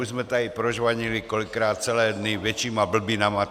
Už jsme tady prožvanili kolikrát celé dny většími blbinami.